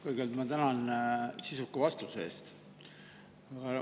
Kõigepealt ma tänan sisuka vastuse eest.